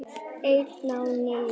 Ein á ný.